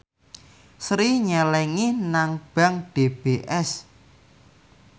Sri nyelengi nang bank DBS